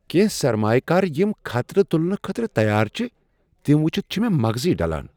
کینٛہہ سرمایہ کار یم خطرٕ تلنہٕ خٲطرٕ تیار چھ تم وٕچھتھ چھ مغزٕے ڈلان۔